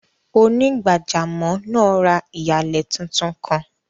Onígbàjàmọ́ naa rá iyalẹ̀ tuntun kan.